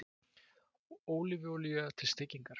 Ólífuolía til steikingar.